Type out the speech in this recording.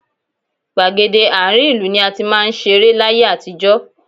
Gbàgede àárín ìlú ni a ti máa ń ṣeré láyé àtijọ́.